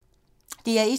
DR1